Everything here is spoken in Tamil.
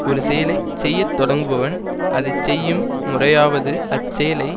ஒரு செயலை செய்ய தொடங்குபவன் அதை செய்யும் முறையாவது அச்செயலை